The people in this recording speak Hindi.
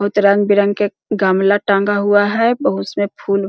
बहुत रंग -बिरंग के गमला टंगा हुआ है बहु उसमे फूल --